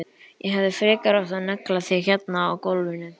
Ég hefði frekar átt að negla þig hérna á gólfinu.